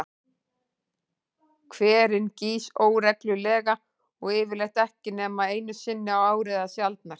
Hverinn gýs óreglulega og yfirleitt ekki nema einu sinni á ári eða sjaldnar.